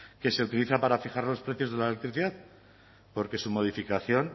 que se utiliza para fijar los precios de la electricidad porque su modificación